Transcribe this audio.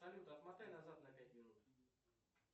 салют отмотай назад на пять минут